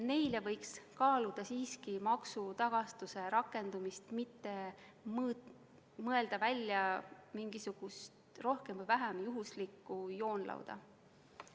Neile võiks kaaluda siiski maksutagastuse rakendamist, mitte mõelda välja mingisugust rohkem või vähem juhuslikku joonlauda.